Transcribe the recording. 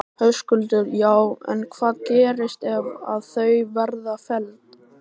Höskuldur: Já en hvað gerist ef að þau verða felld?